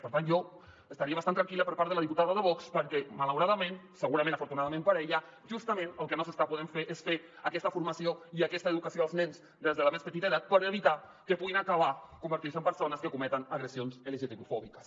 per tant jo estaria bastant tranquil·la per part de la diputada de vox perquè malauradament segurament afortunadament per a ella justament el que no s’està podent fer és fer aquesta formació i aquesta educació als nens des de la més petita edat per evitar que puguin acabar convertint se en persones que cometen agressions lgtbi fòbiques